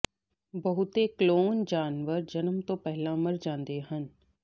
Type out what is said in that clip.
ਬਹੁਤੇ ਕਲੋਨ ਜਾਨਵਰ ਜਨਮ ਤੋਂ ਪਹਿਲਾਂ ਮਰ ਜਾਂਦੇ ਹਨ